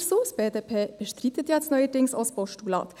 Die BDP bestreitet jetzt ja neuerdings auch das Postulat.